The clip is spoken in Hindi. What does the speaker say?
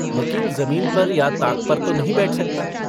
वकील जमीन पर या ताक पर तो नहीं बैठ सकता।